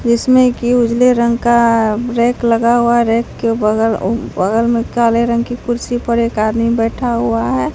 जिसमें कि उजले रंग का रैक लगा हुआ है रैक के बगल उ बगल में काले रंग की कुर्सी पर एक आदमी बैठा हुआ है।